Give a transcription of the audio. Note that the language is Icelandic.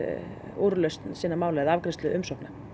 úrlausn sinna mála eða afgreiðslu umsókna